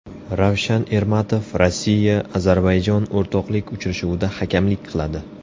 Ravshan Ermatov Rossiya Ozarbayjon o‘rtoqlik uchrashuvida hakamlik qiladi.